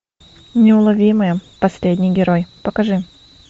неуловимые последний герой покажи